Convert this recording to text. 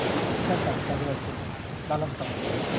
মানে চার পাঁচটা করে একজন লালন পালন করে